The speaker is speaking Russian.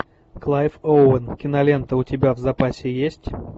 клайв оуэн кинолента у тебя в запасе есть